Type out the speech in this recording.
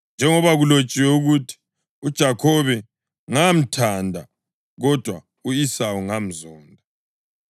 Njengoba kulotshiwe ukuthi, “UJakhobe ngamthanda, kodwa u-Esawu ngamzonda.” + 9.13 UMalaki 1.2-3